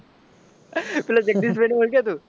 ઓલા જગદીશભાઇ ને ઓળખે તું?